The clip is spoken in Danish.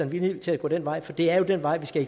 villig til at gå den vej for det er jo den vej vi skal